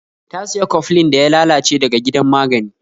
Ta siya cofflin daya lalace daga gidan magani